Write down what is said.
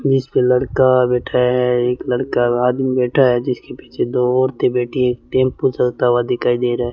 जिसपे लड़का बैठा है एक लड़का आदमी बैठा है जिसके पीछे दो औरतें बैठी हैं एक टेंपो हुआ दिखाई दे रहा है।